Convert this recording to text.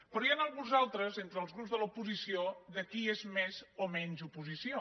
però n’hi ha alguns altres entre els grups de l’oposició de qui és més o menys oposició